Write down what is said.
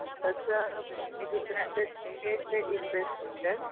तसा cricket is best option.